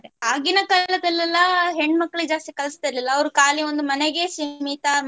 ಆಗಿನ ಕಾಲದಲ್ಲೆಲ್ಲ ಹೆಣ್ಣು ಮಕ್ಕಳು ಜಾಸ್ತಿ ಕಳಿಸ್ತಾ ಇರ್ಲಿಲ್ಲ ಅವರು ಕಾಲಿ ಒಂದು ಮನೆಗೆ ಸೀಮಿತ